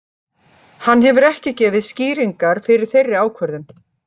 Hann hefur ekki gefið skýringar fyrir þeirri ákvörðun.